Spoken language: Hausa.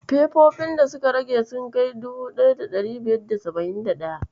Fefofin da suka rage sun kai 1571?